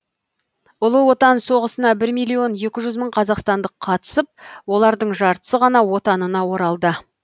ұлы отан соғысына бір миллион екі жүз мың қазақстандық қатысып олардың жартысы ғана отанына оралды